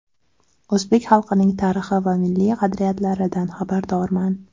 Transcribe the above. O‘zbek xalqining tarixi va milliy qadriyatlaridan xabardorman.